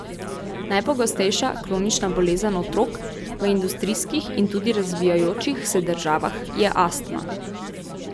Najpogostejša kronična bolezen otrok v industrijskih in tudi razvijajočih se državah je astma.